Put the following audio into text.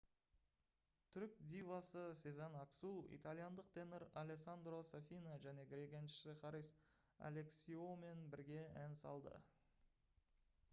түрік дивасы сезен аксу итальяндық тенор алессандро сафина және грек әншісі харис алексиоумен бірге ән салды